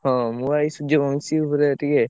ହଁ ମୁଁ ବା ଏଇ ସୂର୍ଯ୍ୟ ବଂଶୀ ଉପରେ ଟିକେ।